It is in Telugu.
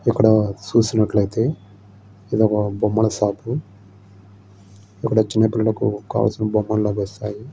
ఇక్కడ చూసినట్లయితే ఇది ఒక బొమ్మలు షాపు ఇక్కడ చిన్న పిల్లలకి కావలసిన బొమ్మలు లభిస్తాయి.